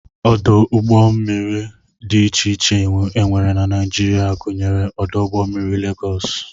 Ọdụ ụgbọmmiri dị iche iche e nwere na Naijiria Naijiria gụnyere ọdụ ụgbọmmiri Legọs